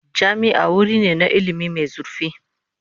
Jami'a wuri ne na ilimi mai zurfi.